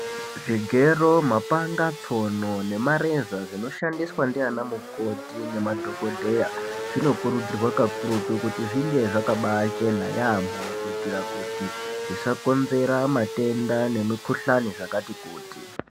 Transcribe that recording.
Zvigero mapanga tsono nemareza zvinoshandiswa ndiana mukoti nemadhokodheya zvinokurudzirwa kakurutu kuti zvinge zvakabaa chena yaamho kuitira kuti zvisakonzera matenda nemikhuhlani zvakati kuti.